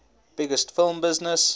biggest film business